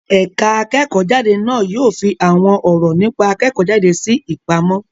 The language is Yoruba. Ẹ̀ka akẹ́kọ̀ọ́-jáde na yóò fi àwọn ọ̀rọ̀ nípa akẹ́kọ̀ọ́-jáde sí ìpamọ́.